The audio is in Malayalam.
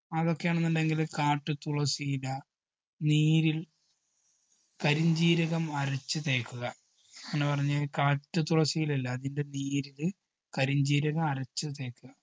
അതൊക്കെയാണെന്നുണ്ടെങ്കില് കാട്ടുതുളസിയില നീരിൽ കരിഞ്ജീരകം അരച്ച് തേക്കുക അങ്ങനെ പറഞ്ഞാ കാട്ടുതുളസിയില ഇല്ലേ അതിൻറെ നീരില് കരിഞ്ജീരകം അരച്ച് തേക്കുക